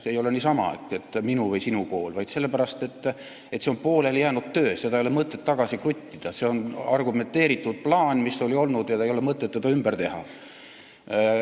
See ei ole niisama, et minu või sinu kool, vaid see on pooleli jäänud töö, seda ei ole mõtet tagasi kruttida, oli olemas argumenteeritud plaan ja ei ole mõtet seda ümber teha.